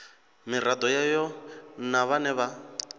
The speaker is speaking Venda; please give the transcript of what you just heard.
miraḓo yayo na vhane vha